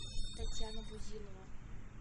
татьяна бузилова